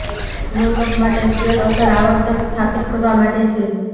લોલક માટે સ્કેલ અસર આવર્તન સ્થાપિત કરવા માટે છે